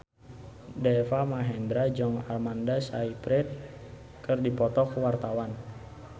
Deva Mahendra jeung Amanda Sayfried keur dipoto ku wartawan